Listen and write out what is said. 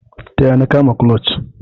Taya ni kama clutch.